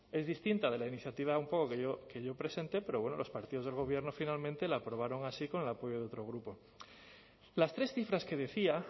es distinta de la iniciativa un poco que yo presenté pero bueno los partidos del gobierno finalmente la aprobaron así con el apoyo de otro grupo las tres cifras que decía